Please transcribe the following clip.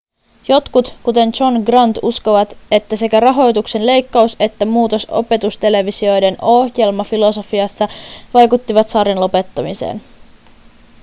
jotkut kuten john grant uskovat että sekä rahoituksen leikkaus että muutos opetustelevisioiden ohjelmafilosofiassa vaikuttivat sarjan lopettamiseen